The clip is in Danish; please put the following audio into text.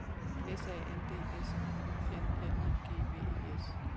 S A N D S Y N L I G V I S